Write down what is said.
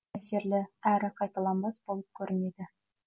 әсерлі әрі қайталанбас болып көрінеді